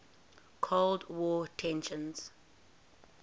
cold war tensions